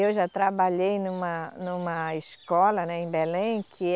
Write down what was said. Eu já trabalhei numa, numa escola, né, em Belém, que